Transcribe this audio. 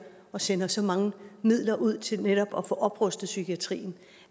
og sender så mange midler ud til netop at få oprustet psykiatrien